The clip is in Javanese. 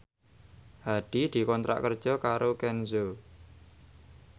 Hadi dikontrak kerja karo Kenzo